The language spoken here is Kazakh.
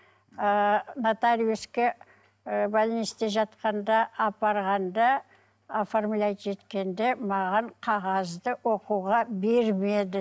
ыыы нотариуске ы больницте жатқанда апарғанда оформлять еткенде маған қағазды оқуға бермеді